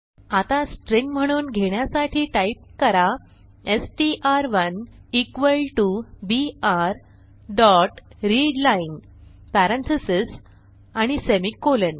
आता स्ट्रिंग म्हणून घेण्यासाठी टाईप करा S T R one equal T O B R dot read line parentheses आणि सेमिकोलॉन